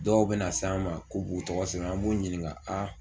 Dɔw be na na s'an ma k'u b'u tɔgɔ sɛbɛn an b'u ɲininka aa